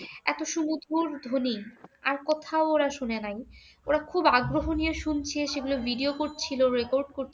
এত সুমধুর ধ্বনি আর কোথাও ওরা শুনে নাই। ওরা খুব আগ্রহ নিয়ে শুনছে, সেগুলোর video করছিল, record করছিল